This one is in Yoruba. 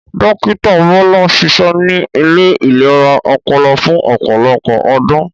Dókítà Bọ́lá ṣiṣẹ ní ilé ìlera ọpọlọ fún ọ̀pọlọpọ̀ ọdún